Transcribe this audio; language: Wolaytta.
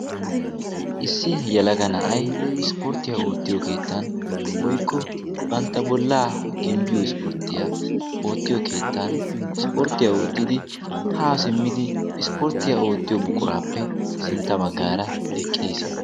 issi yelaga na'ay ispportiya ootiyo keettan woykko banta bolaa gimboyo keettan haa simmidi isporttiya ootiyo buquraappe sintan eqiis.